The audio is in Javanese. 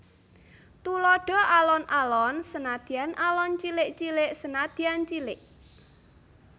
Tuladha Alon alon senadyan alon cilik cilik senadyan cilik